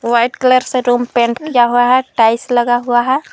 White colour से room paint किया हुआ है टाइल्स लगा हुआ है।